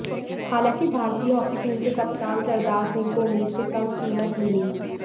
हालांकि भारतीय hockey team के कप्तान सरदार सिंह को उम्मीद से कम कीमत मिली